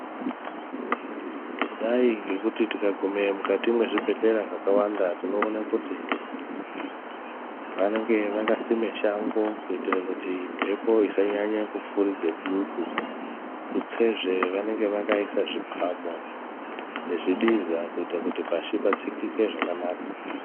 Kudai ngekuti tikagume mukati mwezvibhedhlera zvakawanda tinoone kuti vanenge vakasime shango kuitire kuti mbepo isanyanye kufuridze dutu. Tutsezve, vanenge vakaise zvipamo, nezvibiza kuita kuti pashi patsikike zvakanaka.